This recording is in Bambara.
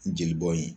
N jeli bɔn ye